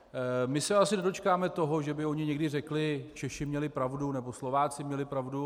My se asi nedočkáme toho, že by oni někdy řekli: Češi měli pravdu nebo Slováci měli pravdu.